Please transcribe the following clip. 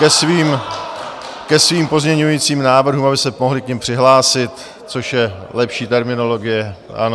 ke svým pozměňovacím návrhům, aby se mohli k nim přihlásit, což je lepší terminologie, ano.